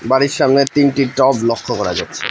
বাড়ির সামনে তিনটি টব লক্ষ্য করা যাচ্ছে।